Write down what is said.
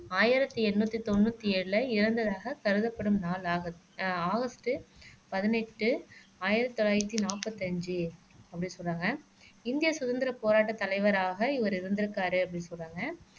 ஆயிரத்தி எண்ணூத்தி தொண்ணூத்தி ஏழுல இறந்ததாக கருதப்படும் நாள் ஆகஸ்ட் ஆகஸ்ட் பதினெட்டு ஆயிரத்து தொள்ளாயிரத்து நாற்பத்தஞ்சு அப்படின்னு சொன்னாங்க இந்திய சுதந்திர போராட்டத் தலைவராக இவர் இருந்திருக்காரு அப்படின்னு சொல்றாங்க